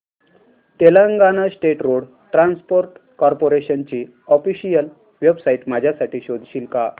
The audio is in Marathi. Telangana state road transport corporation ची ऑफिशियल वेबसाइट माझ्यासाठी शोधशील का